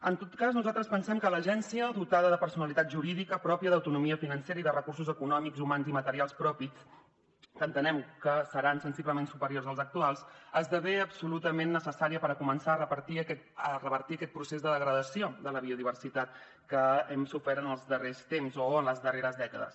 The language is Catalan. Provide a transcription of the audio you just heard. en tot cas nosaltres pensem que l’agència dotada de personalitat jurídica pròpia d’autonomia financera i de recursos econòmics humans i materials propis que entenem que seran sensiblement superiors als actuals esdevé absolutament necessària per començar a revertir aquest procés de degradació de la biodiversitat que hem sofert en els darrers temps o en les darreres dècades